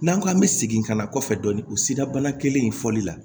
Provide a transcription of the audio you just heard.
N'an ko an bɛ segin ka na kɔfɛ dɔɔnin o sira kelen in fɔli la